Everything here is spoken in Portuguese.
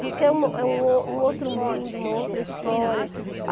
Porque é um o é um o um outro mundo, uma outra história.